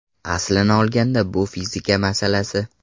Aslini olganda bu fizika masalasi.